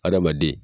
Adamaden